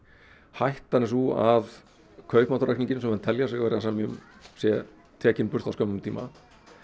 hættan er sú að kaupmáttaraukningin sem menn telja sig vera að semja um sé tekin burt á skömmum tíma